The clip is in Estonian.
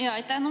Aitäh!